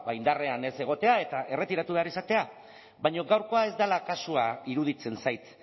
indarrean ez egotea eta erretiratu behar izatea baina gaurkoa ez dela kasua iruditzen zait